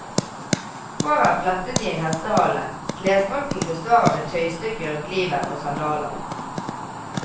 Håret er flettet i en hestehale, klesdrakten består av et tøystykke rundt livet og sandaler.